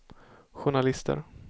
journalister